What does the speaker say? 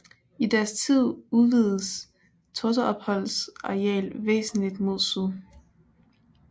I deres tid udvidedes Totterupholms areal væsentligt mod syd